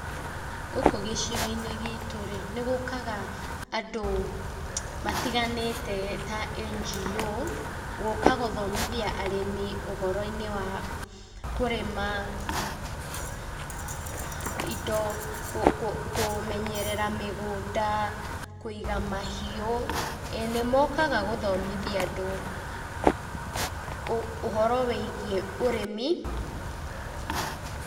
Gũkũ gĩcigo-inĩ gitũ rĩ, nĩ gũkaga andũ matiganĩte ta NGO, gũka gũthomithia arĩmi ũhoro-inĩ wa kũrĩma indo, kũmenyerera mĩgũnda, kũiga mahiũ. ĩĩ nĩ mokaga gũthomithia andũ ũhoro wĩigiĩ ũrĩmi.